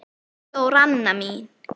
Elsku Þóranna mín.